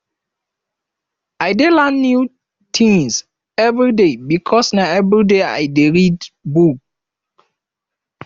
i dey learn new tins everyday because na everyday i dey read book